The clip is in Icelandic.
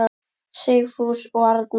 Sigfús og Arna.